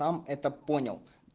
сам это понял